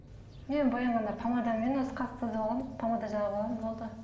мен боянғанда помадамен осы қасты сызып аламын помада жағып аламын болды